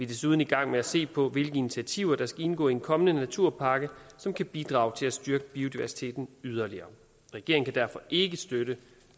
desuden i gang med at se på hvilke initiativer der skal indgå i en kommende naturpakke som kan bidrage til at styrke biodiversiteten yderligere regeringen derfor ikke støtte